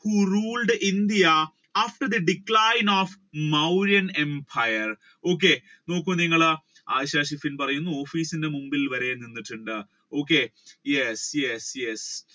who ruled India after the decline of Mauryan Empire? okay നോക്കൂ നിങ്ങൾ office ന്റെ മുൻപിൽ വരേണ്ടതുണ്ട് okay yes yes